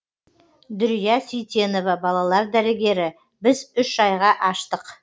дүрия сейтенова балалар дәрігері біз үш айға аштық